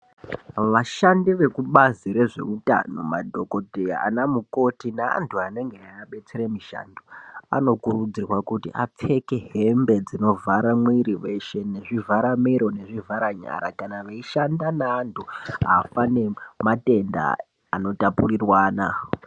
Vashandi vekubazi rezveutano, madhokodheya ana mukoti neantu anenge eiabetsere mushando, anokurudzirwa kuti apfeke hembe dzinovhara mwiri weshe, nezvivharamiro kana nezvivharanyara, kana veishanda neantu afa nematenda anotapurirwana.